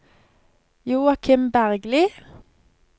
Joakim Bergli